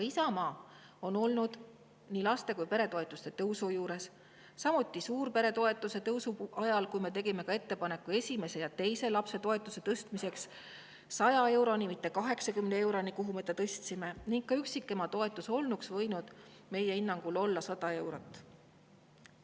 Isamaa on aga olnud nii laste- kui ka peretoetuste tõusu juures, samuti suurperetoetuse tõusu juures: me tegime ettepaneku tõsta esimese ja teise lapse toetus 100 euroni, mitte 80 euroni, kuhu me ta tõstsime, ning ka üksikema toetus võinuks meie hinnangul olla 100 eurot.